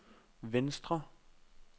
venstre